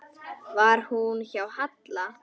Var hún hjá Halla?